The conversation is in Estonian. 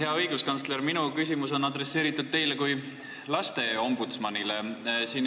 Hea õiguskantsler, minu küsimus on adresseeritud teile kui lasteombudsmanile.